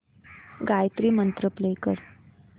गायत्री मंत्र प्ले कर